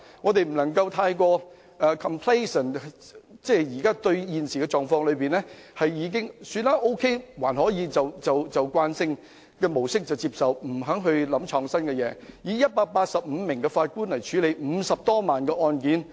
我們不能夠過於自滿，認為現時的狀況可以接受便沿用慣性的模式，不求創新，繼續以185位法官處理50多萬宗案件。